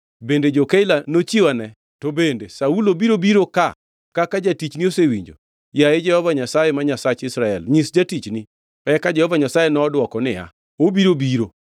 Bende jo-Keila nochiwane? To bende Saulo biro biro ka kaka jatichni osewinjo? Yaye Jehova Nyasaye ma Nyasach Israel, nyis jatichni.” Eka Jehova Nyasaye nodwoko niya, “Obiro biro.”